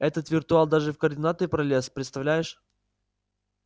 этот виртуал даже в координаторы пролез представляешь